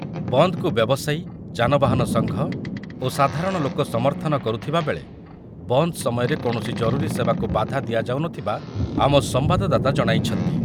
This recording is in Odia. ବନ୍ଦକୁ ବ୍ୟବସାୟୀ, ଯାନବାହାନ ସଂଘ ଓ ସାଧାରଣ ଲୋକ ସମର୍ଥନ କରୁଥିବା ବେଳେ ବନ୍ଦ ସମୟରେ କୌଣସି ଜରୁରୀ ସେବାକୁ ବାଧା ଦିଆଯାଉ ନଥିବା ଆମ ସମ୍ବାଦଦାତା ଜଣାଇଛନ୍ତି ।